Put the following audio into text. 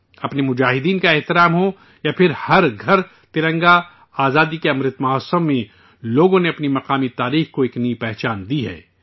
اپنے فوجیوں کی عزت افزائی ہو یا پھر ہر گھر ترنگا، آزادی کے امرت مہوتسو میں، لوگوں نے اپنی مقامی تاریخ کو ایک نئی شناخت دی ہے